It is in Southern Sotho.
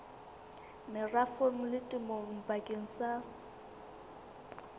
merafong le temong bakeng sa